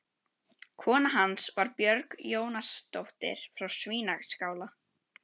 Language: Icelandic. Kona hans var Björg Jónasdóttir frá Svínaskála.